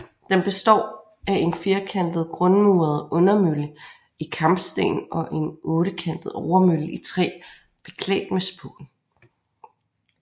Den består af en firkantet grundmuret undermølle i kampesten og en ottekantet overmølle i træ beklædt med spån